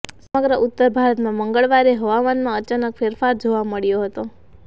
સમગ્ર ઉત્તર ભારતમાં મંગળવારે હવામાનમાં અચાનક ફેરફાર જોવા મળ્યો હતો